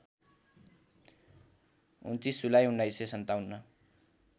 २९ जुलाई १९५७